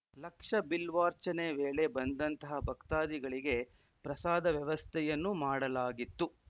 ಲಕ್ಷ ಬಿಲ್ವಾರ್ಚನೆ ವೇಳೆ ಬಂದಂತಹ ಭಕ್ತಾದಿಗಳಿಗೆ ಪ್ರಸಾದ ವ್ಯವಸ್ಥೆಯನ್ನೂ ಮಾಡಲಾಗಿತ್ತು